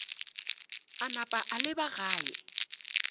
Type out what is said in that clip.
a napa a leba gae